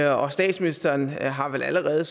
og statsministeren har vel allerede